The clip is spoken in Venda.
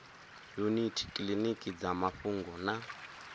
yuniti kiliniki dza mafhungo na